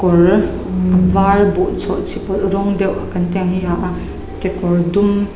kawr var buh chhawhchhi pawlh rawng deuh kan tih ang hi ha a kekawr dum.